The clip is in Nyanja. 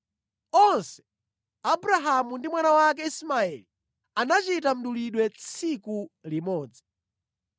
Onse, Abrahamu ndi mwana wake Ismaeli, anachita mdulidwe tsiku limodzi.